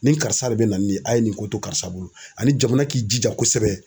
Ni karisa de bɛ na ni nin ye a ye nin ko to karisa bolo ani jamana k'i jija kosɛbɛ.